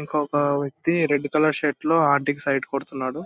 ఇంకొక వ్యక్తి red colour shirt లో ఆంటీ కి సైట్ కొడుతున్నాడు.